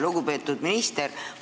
Lugupeetud minister!